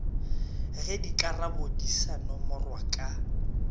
ge dikarabodi sa nomorwa ka